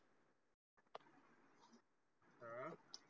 अह?